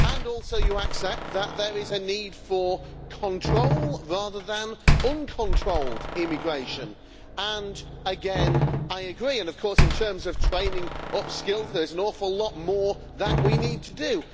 Also, you accept that there is a need for control rather than for uncontrolled immigration, and again I agree. Of course, in terms of training up skills, there is an awful lot more that we need to do.